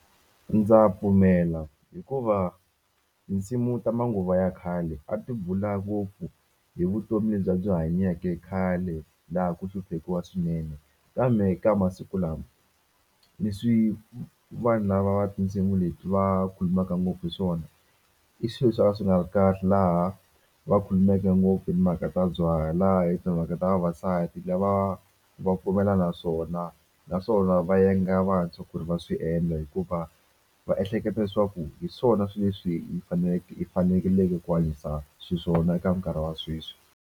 Ndza pfumela hikuva tinsimu ta manguva ya khale a ti bula ngopfu hi vutomi lebyi a byi hanyake khale laha a ku hluphekiwa swinene kambe ka masiku lama leswi vanhu lava va tinsimu leti va khulumaka ngopfu hi swona i swilo swa ka swi nga ri kahle laha va khulumeke ngopfu hi timhaka ta byala hi timhaka ta vavasati lava va pfumela naswona naswona va yenga vantshwa ku ri va swi endla hikuva va ehleketa leswaku hi swona swi leswi hi faneleke hi fanekeleke ku hanyisa xiswona eka nkarhi wa sweswi.